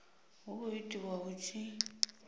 hu khou itiwa hu tshi